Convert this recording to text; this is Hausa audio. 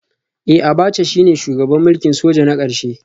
Eh Abacha shine shugaban mulkin soja na karshe